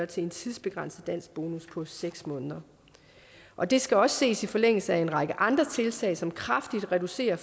til en tidsbegrænset danskbonus på seks måneder og det skal også ses i forlængelse af en række andre tiltag som kraftigt reducerer